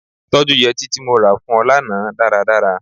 Tọ́jú yẹtí tí mo ra fún ọ lánàá dáradára.